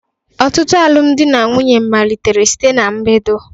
Ọtụtụ alụmdi na nwunye malitere site ná mbedo